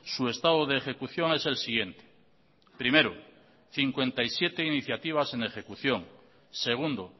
su estado de ejecución es el siguiente primero cincuenta y siete iniciativas en ejecución segundo